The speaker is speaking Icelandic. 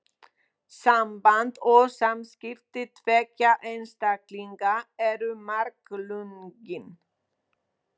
Samband og samskipti tveggja einstaklinga eru margslungin.